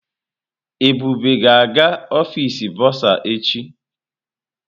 Ebube ga-aga ọfịs bọrzà echi.